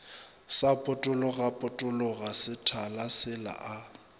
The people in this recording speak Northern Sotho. sa potologapotologa sethale sela a